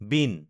bean